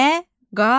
Məqalə.